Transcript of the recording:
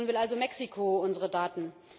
Nun will also Mexiko unsere Daten.